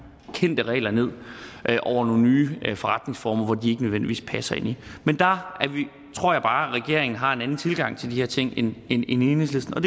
kendte regler ned over nogle nye forretningsformer som de ikke nødvendigvis passer ind i men der tror jeg bare regeringen har en anden tilgang til de her ting end enhedslisten og